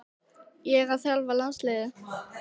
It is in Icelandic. Ég að þjálfa landslið?